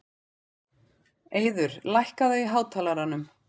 Eiður, lækkaðu í hátalaranum.